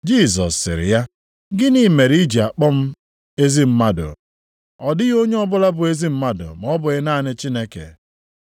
Jisọs sịrị ya, “Gịnị mere i ji akpọ m ezi mmadụ? Ọ dịghị onye ọbụla bụ ezi mmadụ ma ọ bụghị naanị Chineke.